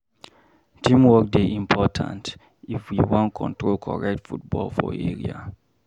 Teamwork dey important if we wan control correct football for area.